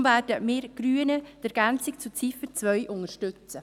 Deshalb werden wir Grünen die Ergänzung zu Ziffer 2 unterstützen.